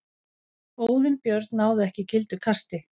Óðinn Björn náði ekki gildu kasti